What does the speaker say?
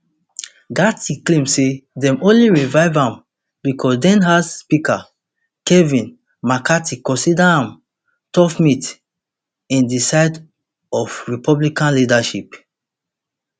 gaetz claim say dem only revive am becos denhouse speaker kevin mccarthy consider am tough meat in di side of republican leadership